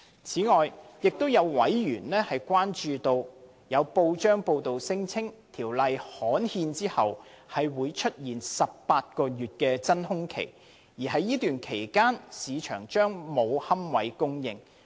此外，有委員關注到，有報章報道聲稱在《條例》刊憲後，會出現18個月真空期，而在該段期間市場將沒有龕位供應。